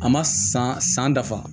A ma san san dafa